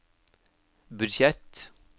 budsjett